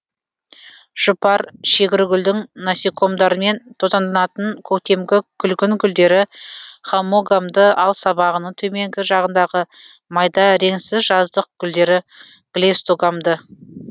жұпар шегіргүлдің насекомдармен тозаңданатын көктемгі күлгін гүлдері хаммогамды ал сабағының төменгі жағындағы майда реңсіз жаздық гүлдері клейстогамды